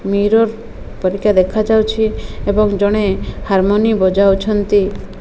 Mirror ପରିକା ଦେଖାଯାଉଛି ଏବଂ ଜଣେ ହାର୍ମୋନୀ ବଜାଉଛନ୍ତି।